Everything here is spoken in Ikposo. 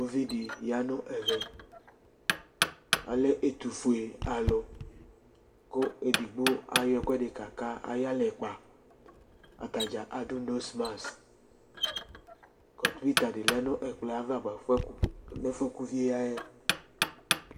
Uvi di ya nʋ ɛvɛ, alɛ ɛtʋfue alʋ kʋ edigbo ayɔ ɛkʋɛdi kaka ayiyalɛ ʋkpa, Atadzaa adʋ nɔse mask, computer di lɛ nʋ ɛkplɔ yɛ ava n'ɛfʋ yɛ nua k'uvi yɛ ya yɛ